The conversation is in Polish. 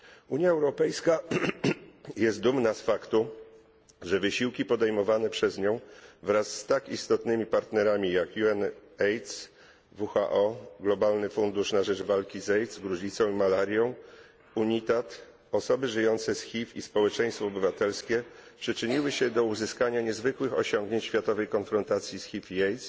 Unia Europejska jest dumna z faktu, że wysiłki podejmowane przez nią wraz z tak istotnymi partnerami jak UNAIDS, WHO, Globalny fundusz na rzecz walki z AIDS, gruźlicą i malarią, UNITAID, osoby żyjące z HIV i społeczeństwo obywatelskie przyczyniły się do uzyskania niezwykłych osiągnięć w światowej konfrontacji z HIV i AIDS.